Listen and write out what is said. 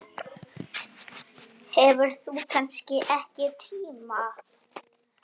Þú hefur kannski ekki tíma?